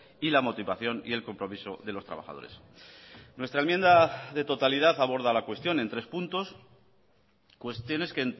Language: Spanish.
y la motivación y el compromiso de los trabajadores nuestra enmienda de totalidad aborda la cuestión en tres puntos cuestiones que